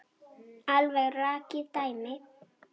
Alveg rakið dæmi.